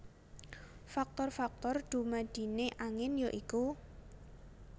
Faktor faktor dumadine angin ya iku